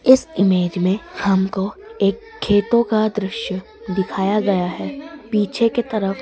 इस इमेज हमको एक खेतों का दृश्य दिखाया गया है पीछे की तरफ --